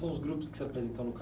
São os grupos que se apresentam no